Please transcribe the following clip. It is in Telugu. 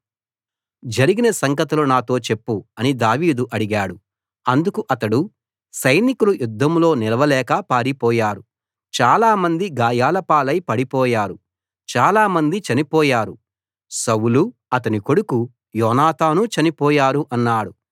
జరిగిన సంగతులు నాతో చెప్పు అని దావీదు అడిగాడు అందుకు అతడు సైనికులు యుద్ధంలో నిలవలేక పారిపోయారు చాలా మంది గాయాలపాలై పడిపోయారు చాలా మంది చనిపోయారు సౌలూ అతని కొడుకు యోనాతానూ చనిపోయారు అన్నాడు